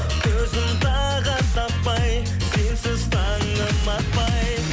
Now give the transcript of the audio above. көзім тағыт таппай сенсіз таңым атпай